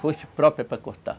Foice própria para cortar.